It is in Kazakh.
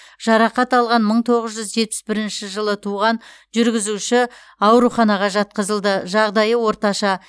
жарақат алған мың тоғыз жүз жетпіс бірінші жылы туған жүргізуші ауруханаға жатқызылды жағдайы орташа